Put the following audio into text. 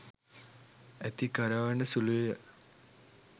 ඇති කරවන සුළුය.